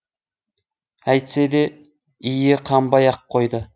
әйтсе де иі қанбай ақ қойды